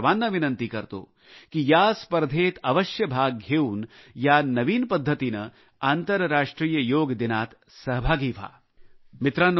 मी आपणा सर्वांना विनंती करतो की तुम्ही या स्पर्धेत भाग घेऊन या नवीन मार्गाने आंतरराष्ट्रीय योग दिनात सहभागी व्हावे